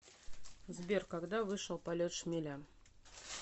сбер когда вышел полет шмеля